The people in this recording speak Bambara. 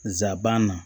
Nsaban